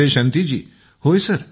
विजयशांती जेः होय सर